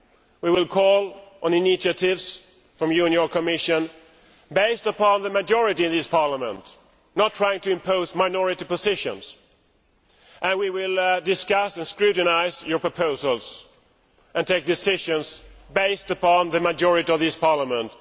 We will call on initiatives from you and your Commission based upon the majority of this Parliament, not by trying to impose minority positions, and we will discuss and scrutinise your proposals and take decisions based upon the majority of this Parliament.